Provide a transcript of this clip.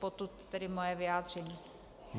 Potud tedy moje vyjádření.